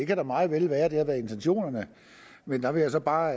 kan meget vel være at det har været intentionerne men der vil jeg så bare